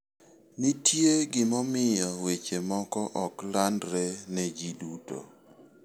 Nitie gimomiyo weche moko ok landre ne ji duto.